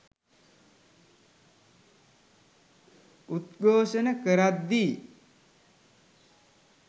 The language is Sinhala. උද්ඝෝෂණ කරද්දී